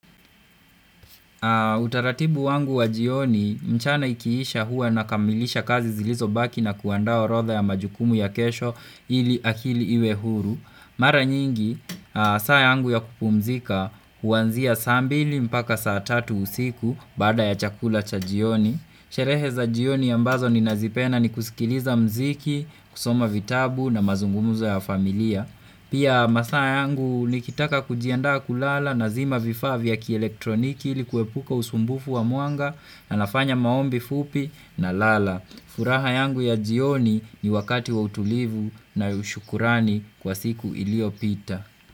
Utaratibu wangu wa jioni, mchana ikiisha hua nakamilisha kazi zilizobaki na kuandaa orodha ya majukumu ya kesho ili akili iwe huru. Mara nyingi, saa yangu ya kupumzika huanzia saa mbili mpaka saa tatu usiku bada ya chakula cha jioni. Sherehe za jioni ambazo ninazipenaa ni kusikiliza muziki, kusoma vitabu na mazungumuzo ya familia. Pia masaa yangu nikitaka kujiandaa kulala nazima vifaa vya kielektroniki ili kuwepuka usumbufu wa mwanga na nafanya maombi fupi nalala. Furaha yangu ya jioni ni wakati wa utulivu na shukrani kwa siku iliopita.